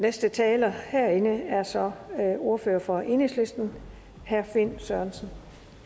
næste taler herinde er så ordfører for enhedslisten herre finn sørensen